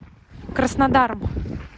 краснодаром